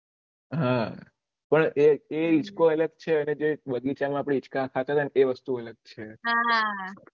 હા પણ એ હિચકો અલગ છે અને જે બગીચા માં આપળે હીચકા ખાતા હતા એ વસ્તુ અલગ છે